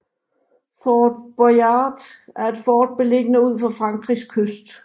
Fort Boyard er et fort belliggende ud for Frankrigs kyst